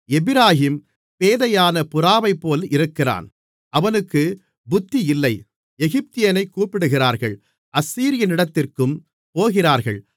எப்பிராயீம் பேதையான புறாவைப்போல் இருக்கிறான் அவனுக்குப் புத்தியில்லை எகிப்தியனைக் கூப்பிடுகிறார்கள் அசீரியனிடத்திற்கும் போகிறார்கள்